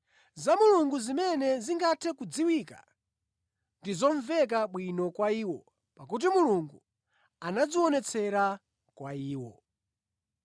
Za Mulungu zimene zingathe kudziwika, ndi zomveka bwino kwa iwo pakuti Mulungu anazionetsera kwa iwo.